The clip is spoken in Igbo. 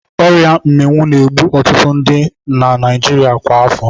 Ọria Mmịwụ na-egbu ọtụtụ ndi na Naịjirịa kwa afọ.